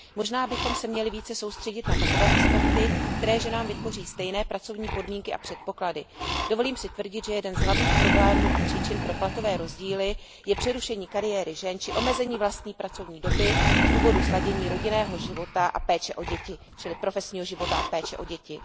Možná bychom se měli více soustředit na takové aspekty, které ženám vytvoří stejné pracovní podmínky a předpoklady. Dovolím si tvrdit, že jeden z hlavních problémů a příčin pro platové rozdíly je přerušení kariéry žen či omezení vlastní pracovní doby z důvodu sladění rodinného života a péče o děti, čili profesního života a péče o děti.